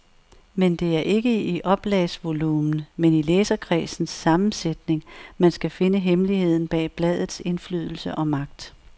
Men det er ikke i oplagsvolumen men i læserkredsens sammensætning, man skal finde hemmeligheden bag bladets indflydelse og magt.